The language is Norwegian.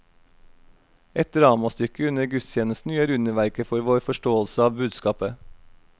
Et dramastykke under gudstjenesten gjør underverker for vår forståelse av budskapet.